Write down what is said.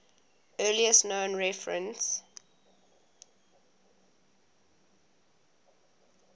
earliest known reference